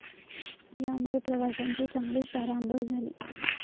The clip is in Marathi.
यामुळे प्रवाशांची चांगलीच तारांबळ झाली.